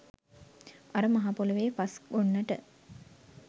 අර මහපොළොවෙ පස් ගොන්නට